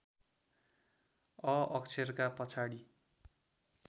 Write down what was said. a अक्षरका पछाडि